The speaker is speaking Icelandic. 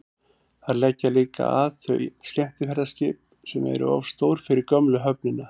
þar leggja líka að þau skemmtiferðaskip sem eru of stór fyrir gömlu höfnina